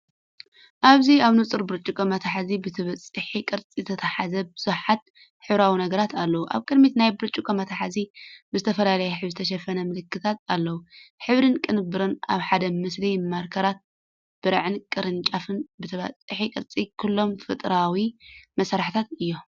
ኣብዚ ኣብ ንጹር ብርጭቆ መትሓዚታት ብተበጻሒ ቅርጺ ዝተታሕዙ ብዙሓት ሕብራዊ ነገራት ኣለዉ። ኣብ ቅድሚት ናይቲ ብርጭቆ መትሓዚ፡ ብዝተፈላለየ ሕብሪ ዝተሸፈኑ ምልክታት ኣለዉ። ሕብርን ቅንብርን ኣብ ሓደ ምስሊ! ማርከራት፡ብርዕን ቅራፍን ብተበጻሒ ቅርጺ - ኩሎም ፈጠራዊ መሳርሒታት እዮም።